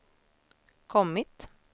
kommit